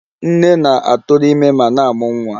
Nne na-atụrụ ime ma na-amụ nwa